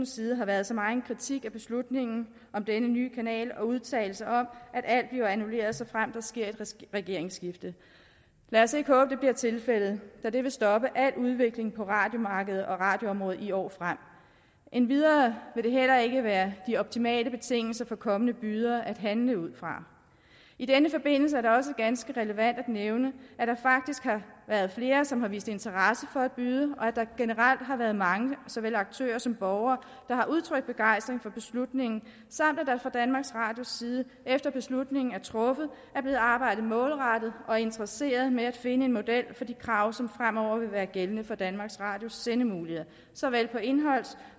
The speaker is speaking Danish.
side har været så meget kritik af beslutningen om denne nye kanal og udtalelser om at alt bliver annulleret såfremt der sker et regeringsskifte lad os ikke håbe at det bliver tilfældet da det vil stoppe al udvikling på radiomarkedet og radioområdet i år frem endvidere vil det heller ikke være de optimale betingelser for kommende bydere at handle ud fra i denne forbindelse er det også ganske relevant at nævne at der faktisk har været flere som har vist interesse for at byde og at der generelt har været mange såvel aktører som borgere der har udtrykt begejstring for beslutningen samt at der fra danmarks radios side efter beslutningen er truffet er blevet arbejdet målrettet og interesseret med at finde en model for de krav som fremover vil være gældende for danmarks radios sendemuligheder såvel på indholds